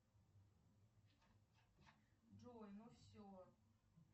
джой ну все